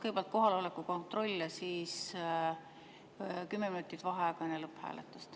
Kõigepealt kohaloleku kontroll ja siis kümme minutit vaheaega enne lõpphääletust.